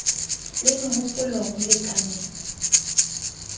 le meho polo ho lekaneng